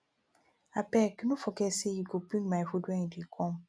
abeg no forget sey you go bring my food wen you dey come